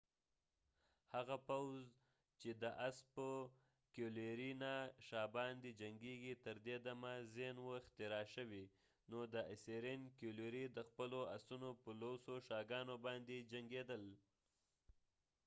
کېولري cavalry هغه پوځ دي چې د اس په شا باندي جنګیږی . تر دي دمه زینsaddle نه وه اختراع شوي . نو اسیرین کېولري assyrian cavalry د خپلو اسونو په لوسو شاګانو باندي جنګیدل